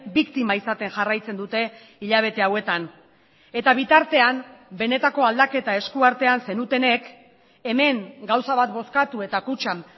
biktima izaten jarraitzen dute hilabete hauetan eta bitartean benetako aldaketa eskuartean zenutenek hemen gauza bat bozkatu eta kutxan